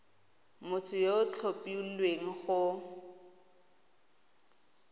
motho yo o tlhophilweng go